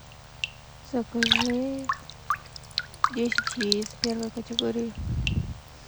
закажи десять яиц первой категории